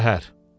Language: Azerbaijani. Şəhər.